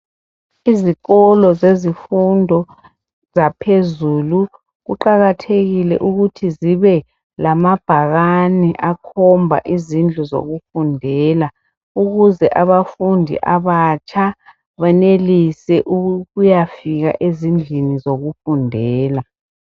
Izikolo zezifundo zaphezulu. Ziqakathekile ukuthi zibe kamabhakane akhombela izindlu zokufundela. Ukuze abafundi abatsha, benelise ukuyafika ezindlini zokufundela.